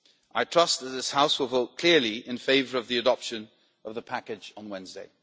I trust that this House will vote clearly in favour of the adoption of the package on Wednesday.